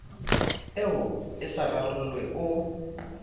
eo e sa rarollwe o